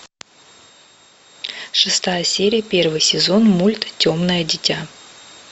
шестая серия первый сезон мульт темное дитя